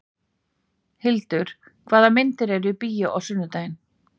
Hildur, hvaða myndir eru í bíó á sunnudaginn?